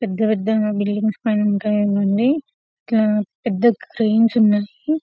పెద్ద పెద్ద బిల్డింగ్స్ పైన ఉంటాయ్ ఇవన్నీ ఇట్లా పెద్ద క్రేన్స్ కూడా ఉన్నట్టు--